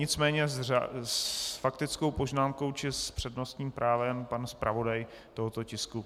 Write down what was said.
Nicméně s faktickou poznámkou či s přednostním právem pan zpravodaj tohoto tisku.